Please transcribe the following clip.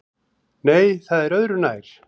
Nei, það er öðru nær!